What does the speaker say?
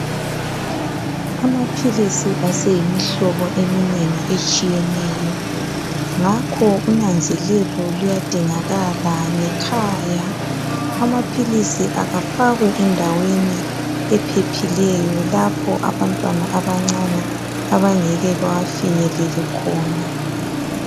Amaphilisi aseyimihlobo eminengi etshiyeneyo ngakho unanzelelo luyadingakala ngekhaya, amaphilisi akafakwe endaweni ephephileyo lapho abantwana abancane abangeke bewafinyelele khona.